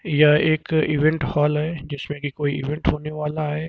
यह एक event hall है जिसमें की कोई इवेंट होने वाला है।